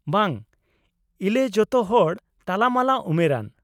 -ᱵᱟᱝ, ᱤᱞᱮ ᱡᱚᱛᱚ ᱦᱚᱲ ᱛᱟᱞᱟᱢᱟᱞᱟ ᱩᱢᱮᱨᱟᱱ ᱾